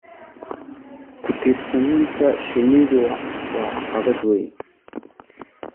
Ku-tiirsanaanta shinnidu waa caqabad weyn.